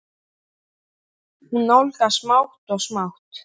Hún nálgast smátt og smátt.